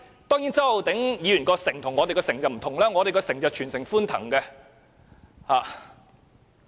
當然，周浩鼎議員的"城"與我們的"城"不同，我們的"城"是全城歡騰的。